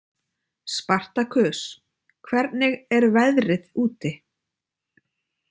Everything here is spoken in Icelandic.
Spartakus, hvernig er veðrið úti?